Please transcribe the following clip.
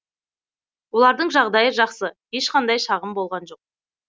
олардың жағдайы жақсы ешқандай шағым болған жоқ